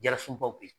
Yarisunbaw be yen